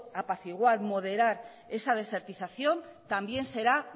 apaciguar y moderar esa desertización también será